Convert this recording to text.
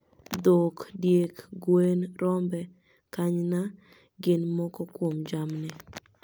Dhok, diek, gwen, rombe, kanyna gin moko kuom jamni